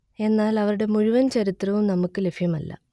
എന്നാൽ അവരുടെ മുഴുവൻ ചരിത്രവും നമുക്ക് ലഭ്യമല്ല